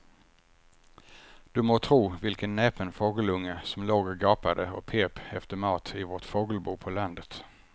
Du må tro vilken näpen fågelunge som låg och gapade och pep efter mat i vårt fågelbo på landet.